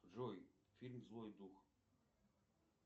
джой фильм злой дух